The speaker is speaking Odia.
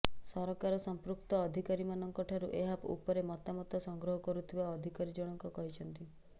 ସରକାର ସଂପୃକ୍ତ ଅଧିକାରୀମାନଙ୍କଠାରୁ ଏହା ଉପରେ ମତାମତ ସଂଗ୍ରହ କରୁଥିବା ଅଧିକାରୀଜଣକ କହିଛନ୍ତି